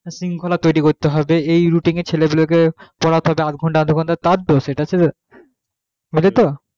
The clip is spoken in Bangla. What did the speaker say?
একটা শৃঙ্খলা তৈরি করতে হবে এই routine এ ছেলে গুলো কে পড়তে হবে আধঘণ্টা আধঘণ্টা তার দোষ এটা সেটা সেটাতো